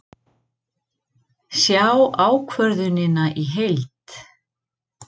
Sjá ákvörðunina í heild